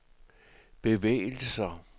bevægelser